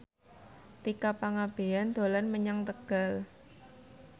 Tika Pangabean dolan menyang Tegal